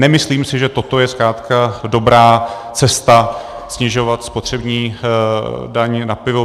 Nemyslím si, že toto je zkrátka dobrá cesta, snižovat spotřební daň na pivo.